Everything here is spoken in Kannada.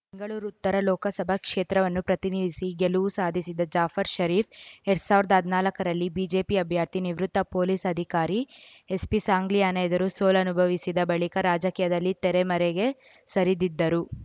ಬೆಂಗಳೂರು ಉತ್ತರ ಲೋಕಸಭಾ ಕ್ಷೇತ್ರವನ್ನು ಪ್ರತಿನಿಧಿಸಿ ಗೆಲುವು ಸಾಧಿಸಿದ್ದ ಜಾಫರ್‌ ಷರೀಫ್‌ ಎರಡ್ ಸಾವಿರ್ದಾ ನಾಲ್ಕರಲ್ಲಿ ಬಿಜೆಪಿ ಅಭ್ಯರ್ಥಿ ನಿವೃತ್ತ ಪೊಲೀಸ್‌ ಅಧಿಕಾರಿ ಎಸ್‌ಪಿಸಾಂಗ್ಲಿಯಾನ ಎದುರು ಸೋಲನುಭವಿಸಿದ ಬಳಿಕ ರಾಜಕೀಯದಲ್ಲಿ ತೆರೆಮರೆಗೆ ಸರಿದಿದ್ದರು